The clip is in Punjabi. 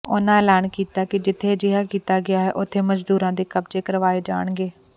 ਉਨ੍ਹਾਂ ਐਲਾਨ ਕੀਤਾ ਕਿ ਜਿਥੇ ਅਜਿਹਾ ਕੀਤਾ ਗਿਆ ਹੈ ਉੱਥੇ ਮਜ਼ਦੂਰਾਂ ਦੇ ਕਬਜ਼ੇ ਕਰਵਾਏ ਜਾਣਗੇ